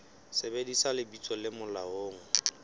sebedisa lebitso le molaong le